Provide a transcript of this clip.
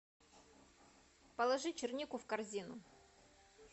положи чернику в корзину